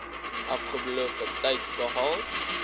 afgelope tyd behaal